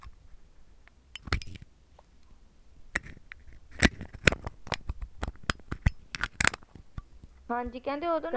ਹਾਜੀ ਕਹਿੰਦੇ ਉਦੋ ਨਾ